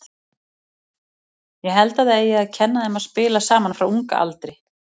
Ég held að það eigi að kenna þeim að spila saman frá unga aldri.